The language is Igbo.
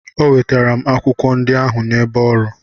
O wetara m akwụkwọ ndị ahụ n'ebe ọrụ.